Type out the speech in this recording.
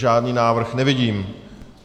Žádný návrh nevidím.